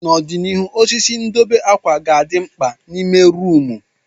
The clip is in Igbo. N'ọdịnihu, osisi ndobe akwa ga-adị mkpa n'ime rumụ.